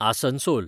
Asansol